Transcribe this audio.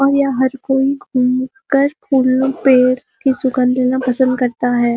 और यहां हर कोई फूल पेड़ की सुगन्ध लेना पसंद करता है।